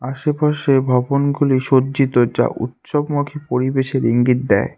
আশেপাশে ভবনগুলি সজ্জিত যা উৎসবমুখী পরিবেশের ইঙ্গিত দেয়।